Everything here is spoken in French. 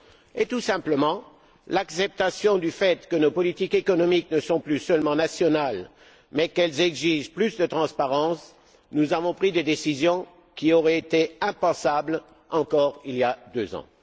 et, tout simplement, l'acceptation du fait que nos politiques économiques ne sont plus seulement nationales mais qu'elles exigent plus de transparence, nous avons pris des décisions qui auraient été impensables il y a encore deux ans.